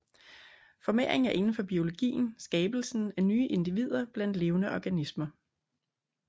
Formering er indenfor biologien skabelsen af nye individer blandt levende organismer